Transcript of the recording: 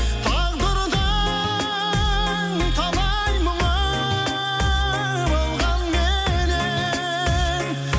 тағдырдың талай мұңы болғанменен